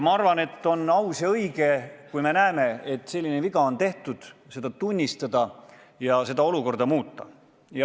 Ma arvan, et kui me näeme, et selline viga on tehtud, siis on hea ja õige seda tunnistada ja olukorda muuta.